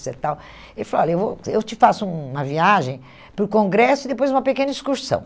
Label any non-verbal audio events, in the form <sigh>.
<unintelligible> e tal. Ele falou, olha, eu vou eu te faço uma viagem para o congresso e depois uma pequena excursão.